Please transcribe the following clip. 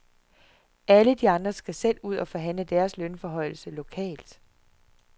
Alle de andre skal selv ud og forhandle deres lønforhøjelser lokalt.